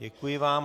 Děkuji vám.